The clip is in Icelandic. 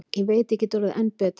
Ég veit ég get orðið enn betri.